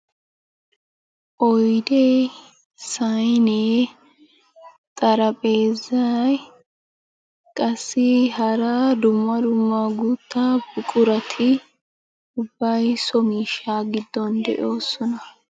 Oydee, saynnee, xarphpheezay qassi hara dumma dumma guuttaa buqurati ubbay so miishshaa giddon de'oosona.